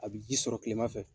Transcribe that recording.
A bɛ ji sɔrɔ tilema fɛ.